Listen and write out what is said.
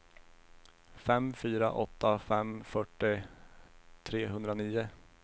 fem fyra åtta fem fyrtio trehundranio